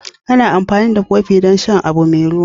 Ana amfani da kofin don shan abu mai ruwa.